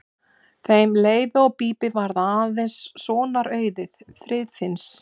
Þeim Leifi og Bíbí varð eins sonar auðið, Friðfinns.